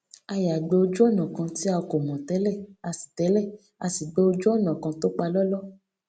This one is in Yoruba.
a yà gba ojúònà kan tí a kò mò télè a sì télè a sì gba ojú ònà kan tó palóló